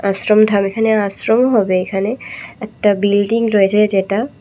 আশ্রম ধাম এখানে আশ্রম হবে এখানে একটা বিল্ডিং রয়েছে যেটা--